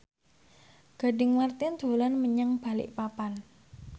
Gading Marten dolan menyang Balikpapan